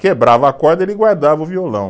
Quebrava a corda e ele guardava o violão.